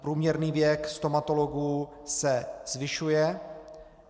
Průměrný věk stomatologů se zvyšuje.